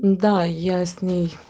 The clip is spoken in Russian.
да я с ней